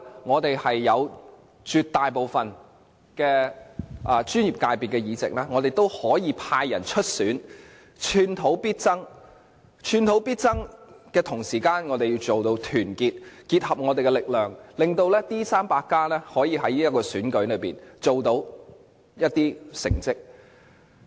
我們在絕大部分專業界別的議席都派人出選，寸土必爭，同時，我們要團結，結合我們的力量，令"民主 300+" 可以在這選舉中取得一些成績。